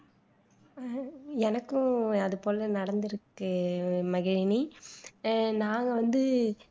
எனக்கும் அது போல நடந்துருக்கு மகிழினி நாங்க வந்து